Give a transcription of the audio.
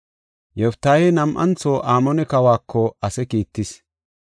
Yoftaahey nam7antho Amoone kawako ase kiittis.